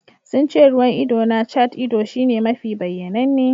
Sun ce ruwan ido na cat-ido shine mafi bayyananne.